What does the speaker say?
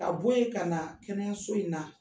Ka bɔ yen ka na kɛnɛyaso in na.